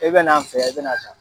I bɛ n'an fɛ yan i bɛna san.